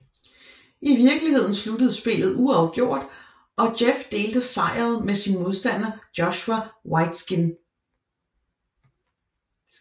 I vikeligheden sluttede spillet uafgjort og Jeff delte sejret med sin modstander Joshua Waitzkin